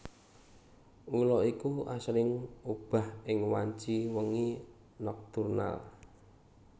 Ula iki asring obah ing wanci wengi nokturnal